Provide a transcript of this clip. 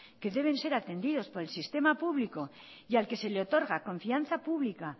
que deben ser atendidos por el sistema público y al que se le otorga confianza pública